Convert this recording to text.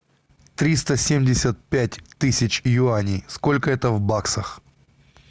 триста семьдесят пять тысяч юаней сколько это в баксах